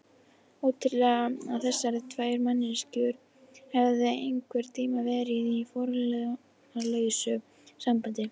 Ótrúlegt að þessar tvær manneskjur hefðu einhvern tíma verið í formálalausu sambandi.